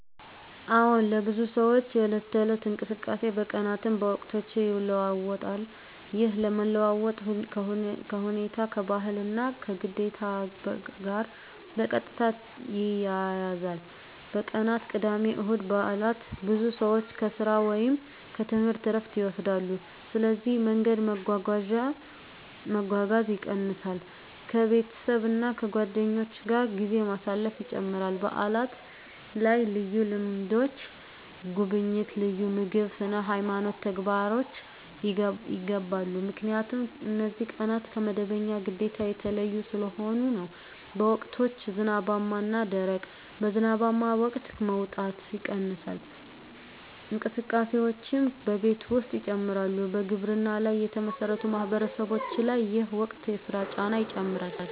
አዎን፣ ለብዙ ሰዎች የዕለት ተዕለት እንቅስቃሴ በቀናትም በወቅቶችም ይለዋዋጣል። ይህ መለዋወጥ ከሁኔታ፣ ከባህል እና ከግዴታ ጋር በቀጥታ ይያያዛል። በቀናት (ቅዳሜ፣ እሁድ፣ በዓላት): ብዙ ሰዎች ከሥራ ወይም ከትምህርት ዕረፍት ይወስዳሉ፣ ስለዚህ መንገድ መጓጓዝ ይቀንሳል ከቤተሰብ እና ከጓደኞች ጋር ጊዜ ማሳለፍ ይጨምራል በዓላት ላይ ልዩ ልምዶች (ጉብኝት፣ ልዩ ምግብ፣ ስነ-ሃይማኖት ተግባሮች) ይገባሉ 👉 ምክንያቱም እነዚህ ቀናት ከመደበኛ ግዴታ የተለዩ ስለሆኑ ነው። በወቅቶች (ዝናባማ እና ደረቅ): በዝናባማ ወቅት መውጣት ይቀንሳል፣ እንቅስቃሴዎችም በቤት ውስጥ ይጨምራሉ በግብርና ላይ የተመሠረቱ ማህበረሰቦች ላይ ይህ ወቅት የሥራ ጫና ይጨምራል